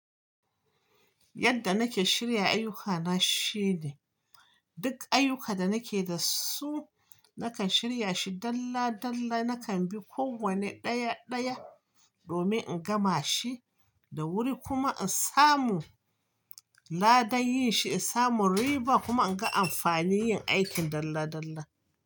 Yadda nake shirya ayyukana shine duk ayyuka da nake da su, nakan shirya shi dalla dalla, nakan bi kowanne ɗaya ɗaya domin in gama shi da wuri kuma in samu ladan yin shi, in samu riba kuma in ga amfani yin aikin dalla dalla.